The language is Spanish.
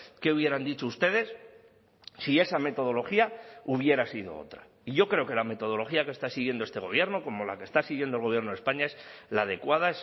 qué hubieran dicho ustedes si esa metodología hubiera sido otra y yo creo que la metodología que está siguiendo este gobierno como la que está siguiendo el gobierno de españa es la adecuada